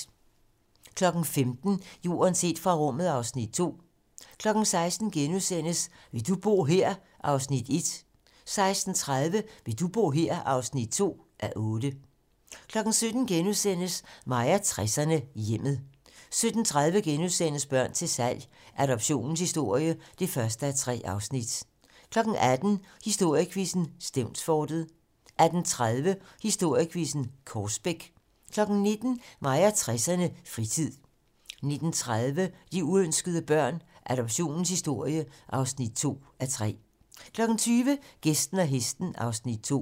15:00: Jorden set fra rummet (Afs. 2) 16:00: Vil du bo her? (1:8)* 16:30: Vil du bo her? (2:8) 17:00: Mig og 60'erne: Hjemmet * 17:30: Børn til salg - Adoptionens historie (1:3)* 18:00: Historiequizzen: Stevnsfortet 18:30: Historiequizzen: Korsbæk 19:00: Mig og 60'erne: Fritid 19:30: De uønskede børn - Adoptionens historie (2:3) 20:00: Gæsten og hesten (Afs. 2)